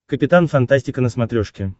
капитан фантастика на смотрешке